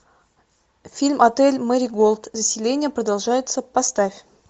фильм отель мэри голд заселение продолжается поставь